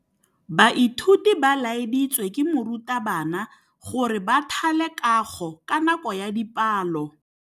Baithuti ba laeditswe ke morutabana gore ba thale kagô ka nako ya dipalô.